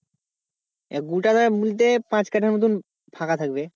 গোটাটা বলতে পাঁচ কাঠা মতন ফাঁকা থাকবে।